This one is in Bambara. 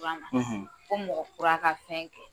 fo mɔgɔ kura ka fɛn kɛ.